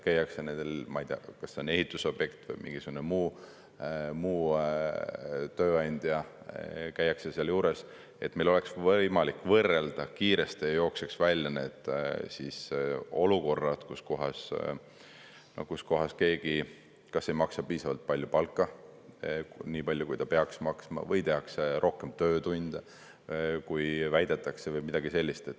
Käiakse nendel, ma ei tea, kas ehitusobjektidel või mingisuguse muu tööandja juures, et meil oleks võimalik võrrelda kiiresti ja jookseks välja need olukorrad, kus keegi kusagil kas ei maksa piisavalt palju palka – nii palju, kui ta peaks maksma – või tehakse rohkem töötunde, kui väidetakse, või midagi sellist.